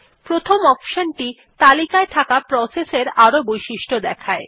প্রথম অপশন টি তালিকায় থাকা প্রসেস এর আরো বৈশিষ্ট্য দেখায়